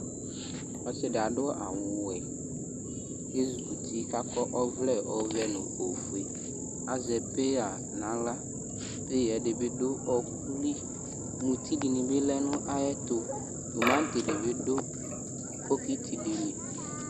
Ɔsɩ dɩ adʋ awʋ wɛ kʋ ezikuti kʋ akɔ ɔvlɛ ɔvɛ nʋ ofue Azɛ peya nʋ aɣla Peya yɛ dɩ bɩ dʋ ɔɣɔkʋ li Muti dinɩ bi lɛ nʋ ayɛtʋ tomatɩ di bɩ dʋ bokitɩ li